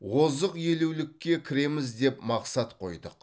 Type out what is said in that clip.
озық елулікке кіреміз деп мақсат қойдық